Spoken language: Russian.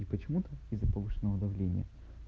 и почему-то из-за повышенного давления